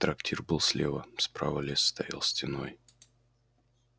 трактир был слева справа лес стоял стеной